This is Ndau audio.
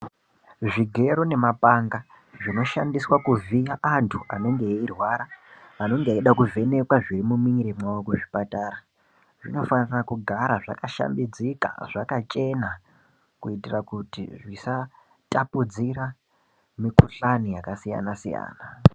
Zvigero nemapanga zvinoshandiswa kuvhiya antu anenge eirwara vanenge veida kuvhenekwa zviri mumwiri mawo kuzvipatara vanofana kugara zvakashambidzika zvakachena kuitira Kuti zvisatapudzira mikuhlani yakasiyana-siyana.